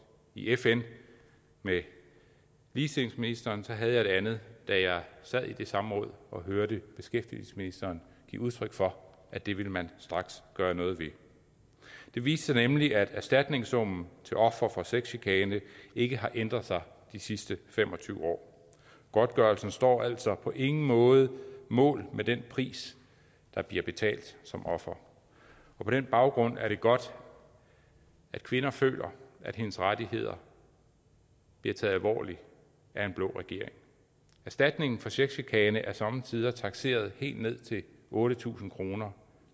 i fn med ligestillingsministeren så havde jeg et andet da jeg sad i det samråd og hørte beskæftigelsesministeren give udtryk for at det ville man straks gøre noget ved det viste sig nemlig at erstatningssummen til ofre for sexchikane ikke har ændret sig de sidste fem og tyve år godtgørelsen står altså på ingen måde mål med den pris der bliver betalt som offer på den baggrund er det godt at kvinden føler at hendes rettigheder bliver taget alvorligt af en blå regering erstatningen for sexchikane er somme tider takseret helt ned til otte tusind kroner